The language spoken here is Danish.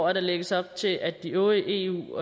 at der lægges op til at de øvrige eu